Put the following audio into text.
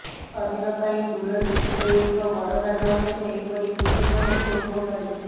ଶରୀର ପାଇଁ ତୁଳସୀ ଯେପରି ଏକ ବରଦାନ ଅଟେ ସେହିପରି ପୁଦିନା ମଧ୍ୟ ଉପକାରୀ